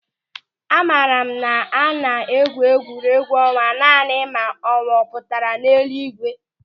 Amara m na a na-egwu egwuregwu ọnwa naanị ma ọnwa ọ pụtara n'elu ígwé.